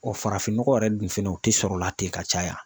wa farafinnɔgɔ yɛrɛ dun fɛnɛ o tɛ sɔrɔla ten ka caya.